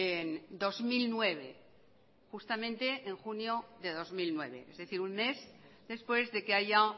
en dos mil nueve justamente en junio de dos mil nueve es decir un mes después de que haya